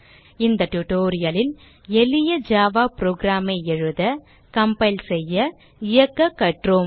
இந்த tutorial லில் எளிய ஜாவா program ஐ எழுத கம்பைல் செய்ய இயக்க கற்றோம்